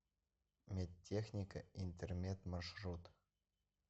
медтехника интермед маршрут